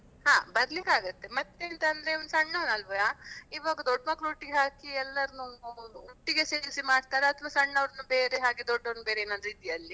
ಹಾ ಬರ್ಲಿಕ್ಕೆ ಆಗತ್ತೆ ಮತ್ತೆ ಎಂತಂದ್ರೆ ಇವನು ಸಣ್ಣವನಲ್ವಾ, ಇವಾಗ ದೊಡ್ ಮಕ್ಳೊಟ್ಟಿಗೆ ಹಾಕಿ ಎಲ್ಲಾರ್ನು ಒಟ್ಟಿಗೆ ಸೇರ್ಸಿ ಮಾಡ್ತಾರಾ ಅಥವಾ ಸಣ್ಣವರ್ನು ಬೇರೆ ಹಾಗೆ ದೊಡ್ಡವರ್ನು ಬೇರೆ ಏನಾದ್ರೂ ಇದೆಯಾ ಅಲ್ಲಿ?